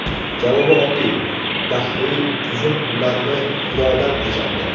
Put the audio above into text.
Javobi oddiy: dahriy tuzum ularni xudodan ajratdi.